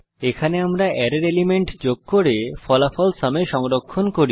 এখানে আমরা অ্যারের এলিমেন্ট যোগ করে ফলাফল সুম এ সংরক্ষণ করি